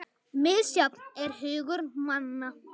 Misjafn er hugur manna